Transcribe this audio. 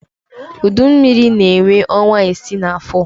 Udu mmiri na-enwe ọnwa isii n'afọ.